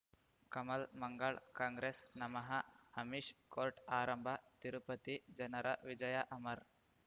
ಕಮಲ್ ಮಂಗಳ್ ಕಾಂಗ್ರೆಸ್ ನಮಃ ಅಮಿಷ್ ಕೋರ್ಟ್ ಆರಂಭ ತಿರುಪತಿ ಜನರ ವಿಜಯ ಅಮರ್